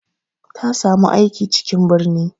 Ta samu aiki cikin birni.